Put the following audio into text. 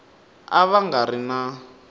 a va nga ri na